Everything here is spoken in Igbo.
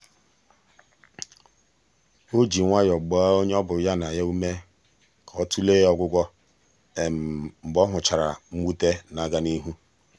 o ji nwayọ gbaa onye ọ bụ ya na ya ume ka ọ tụlee ọgwụgwọ mgbe ọ hụchara mwute na-aga n'ihu.